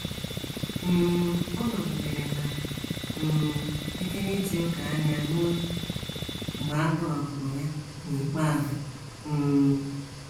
um Ọ nọgidere na - um ekerechi òkè anya ruo mgbe a tọhapụrụ ya n’ikpeazụ um.